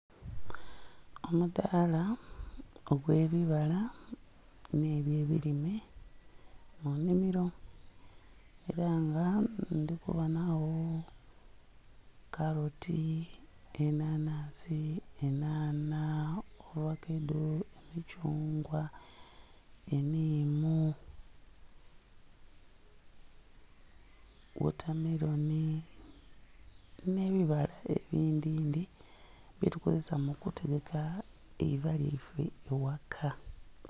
Omudhaala ogwe bibala nhe byo ebilime mu nnhimiro era nga ndhi kubonagho kaloti, enhanhansi, enhanha, ovakado, emithungwa, enhiimu, wotameloni nhe bibala ebindhi ndhi byetukozesa mu kutereka eiva lyaife ghaka.